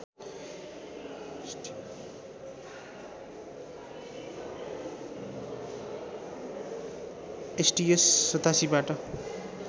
STS ८७ बाट